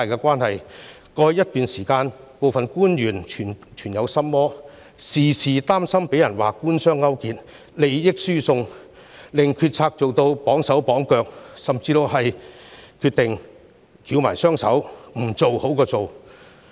過去一段時間，部分官員存有心魔，時常擔心被指官商勾結，利益輸送，令決策行事"綁手綁腳"，甚至寧願"翹埋雙手"，甚麼都不做。